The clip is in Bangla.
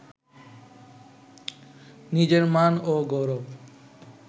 নিজের মান ও গৌরব